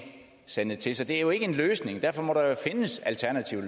sandet til så det er jo ikke en løsning og derfor må der findes alternative